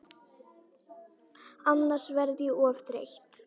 Annars verð ég of þreytt.